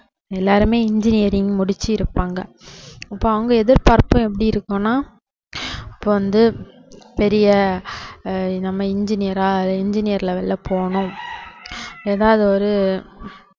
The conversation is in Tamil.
எல்லாருமே engineering முடிச்சிருப்பாங்க இப்போ அவங்க எதிர்பார்ப்பு எப்படி இருக்கும்னா இப்போ வந்து பெரிய ஆஹ் நம்ம engineer ஆ engineer level ல போகணும் ஏதாவது ஒரு